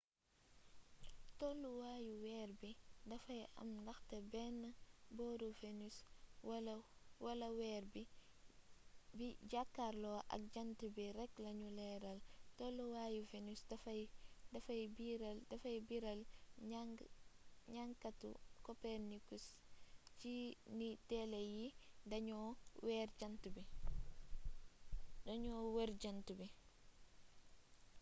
tolluwaayu weer bi dafay am ndaxte benn booru venus wala weer bi bi jàkkarloo ak jànt bi rekk lanu leeral. tolluwaayi venus dafay biral njankatu copernicus ci ni déele yi dañoo wër jant bi